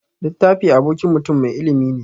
Littafi abokin mutun mai ilimi ne.